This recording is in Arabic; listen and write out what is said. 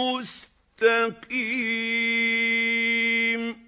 مُّسْتَقِيمٌ